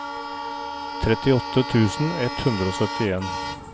trettiåtte tusen ett hundre og syttien